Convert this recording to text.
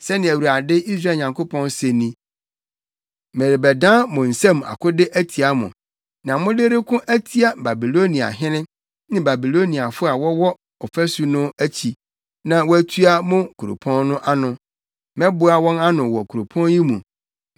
‘Sɛnea Awurade, Israel Nyankopɔn, se ni: Merebɛdan mo nsam akode atia mo, nea mode reko atia Babiloniahene ne Babiloniafo a wɔwɔ ɔfasu no akyi na wɔatua mo kuropɔn no ano. Mɛboa wɔn ano wɔ kuropɔn yi mu.